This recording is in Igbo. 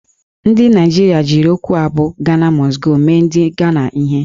Ndị Naijiria jiri okwu a bụ "Ghana Must Go" mee ndị Ghana ihe